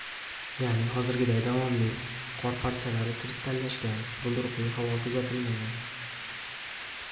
Ya’ni hozirgiday davomli, qor parchalari kristallashgan, bulduruqli havo kuzatilmagan.